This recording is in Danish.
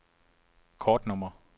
kortnummer